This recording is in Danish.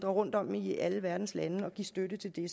rundt om i alle verdens lande og give støtte til det